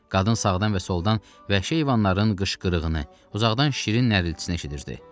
Qadın sağdan və soldan vəhşi heyvanların qışqırığını, uzaqdan şirin nərəltisini eşitdirirdi.